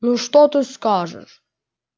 ну что ты скажешь